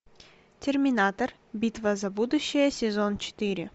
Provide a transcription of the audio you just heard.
терминатор битва за будущее сезон четыре